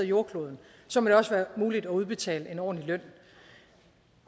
jordkloden så må det også være muligt at udbetale en ordentlig løn